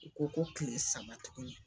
U ko ko kile saba tuguni.